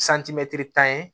tan ye